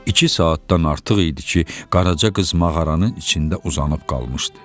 İki saatdan artıq idi ki, Qaraca qız mağaranın içində uzanıb qalmışdı.